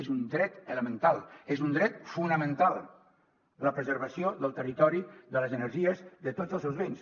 és un dret elemental és un dret fonamental la preservació del territori de les energies de tots els seus béns